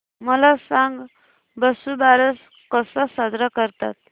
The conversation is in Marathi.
मला सांग वसुबारस कसा साजरा करतात